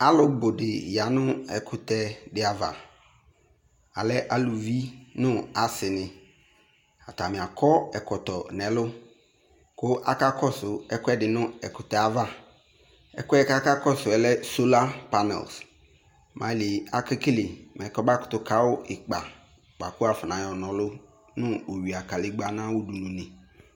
Aalʋ buɖi ya nʋ ɛkʋtɛ ɖi avaAlɛ alʋvi nʋ aasiniAatani akɔ ɛkɔtɔ n'ɛlʋ kʋ aka kɔsʋ ɛkʋɛɖi nʋ ɛkʋtɛavaƐkʋɛ k'akakɔsʋɛ lɛ solar panel mɛ ailie akekele mɛ kɔmakʋtʋ kawu ikpa bua kʋ wuayɔ n'anɔlʋ nʋ owuia galegba n'awuɖʋnue